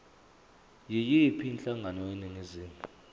yiyiphi inhlangano eningizimu